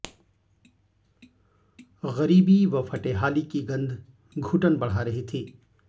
ग़रीबी व फटेहाली की गंध घुटन बढ़ा रही थी